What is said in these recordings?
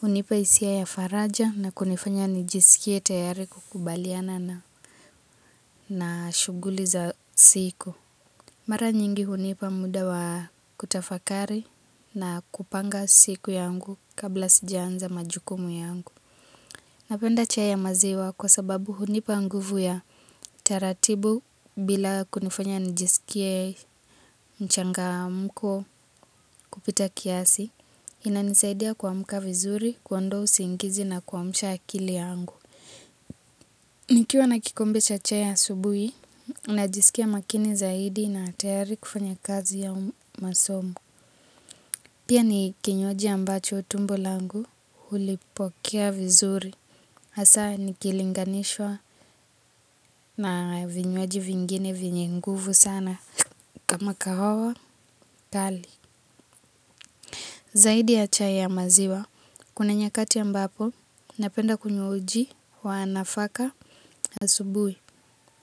hunipa hisia ya faraja na kunifanya nijisikie tayari kukubaliana na shuguli za siku. Mara nyingi hunipa muda wa kutafakari na kupanga siku yangu kabla sijaanza majukumu yangu. Napenda chai ya maziwa kwa sababu hunipa nguvu ya taratibu bila kunifanya nijisikie mchangamko kupita kiasi. Inanisaidia kuamka vizuri, kuondoa usingizi na kuamsha akili yangu. Nikiwa na kikombe cha chai asubuhi najiskia makini zaidi na tayari kufanya kazi au masomo pia ni kinywaji ambacho tumbo langu hulipokea vizuri hasaa nikilinganishwa na vinywaji vingine vyenye nguvu sana. Kama kahawa, kali. Zaidi ya chai ya maziwa, kuna nyakati ambapo, napenda kunywa uji wa nafaka asubuhi.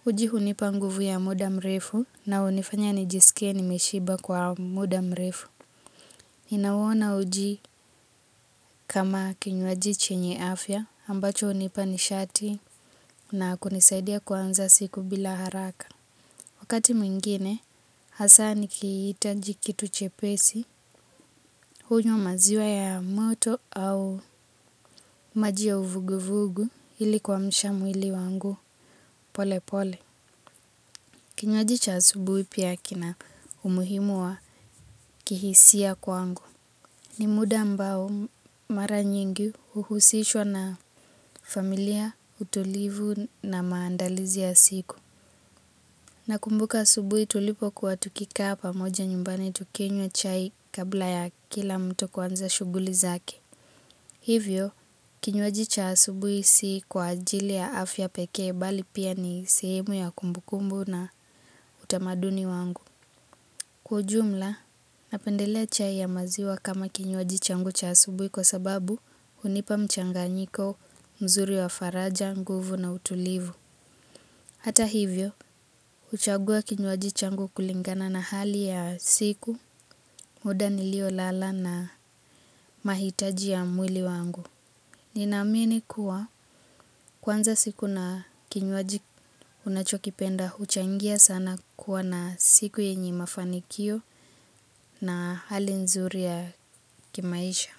Uji hunipa nguvu ya muda mrefu na hunifanya nijisike nimeshiba kwa muda mrefu ninauona uji kama kinywaji chenye afya ambacho hunipa nishati na kunisaidia kuanza siku bila haraka. Wakati mwingine hasaa nikihitaji kitu chepesi hunywa maziwa ya moto au maji ya uvuguvugu ili kuamsha mwili wangu pole pole. Kinywaji cha asubuhi pia kina umuhimu wa kihisia kwangu. Ni muda ambao mara nyingi huhusishwa na familia utulivu na maandalizi ya siku. Nakumbuka asubuhi tulipokuwa tukikaa pamoja nyumbani tukinywa chai kabla ya kila mtu kuanza shuguli zake. Hivyo, kinywaji cha asubuhi si kwa ajili ya afya pekee bali pia ni sehemu ya kumbukumbu na utamaduni wangu. Kwa ujumla, napendelea chai ya maziwa kama kinywaji changu cha asubuhi kwa sababu hunipa mchanganyiko mzuri wa faraja, nguvu na utulivu. Hata hivyo, huchagua kinywaji changu kulingana na hali ya siku, muda niliolala na mahitaji ya mwili wangu. Ninaamini kuwa kuanza siku na kinywaji unachokipenda huchangia sana kuwa na siku yenye mafanikio na hali nzuri ya kimaisha.